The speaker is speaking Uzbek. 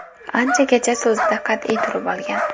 Anchagacha so‘zida qat’iy turib olgan.